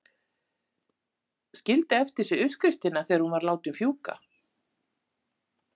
Skildi eftir sig uppskriftina þegar hún var látin fjúka.